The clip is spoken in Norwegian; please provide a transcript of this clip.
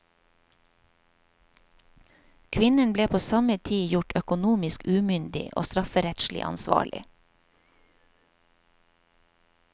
Kvinnen ble på samme tid gjort økonomisk umyndig og strafferettslig ansvarlig.